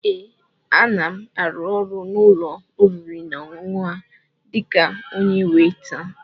Ee, a na m árụ́ ọrụ n'ụ́lọ̀ oriri nà ọṅụṅụ a dịka onyé weita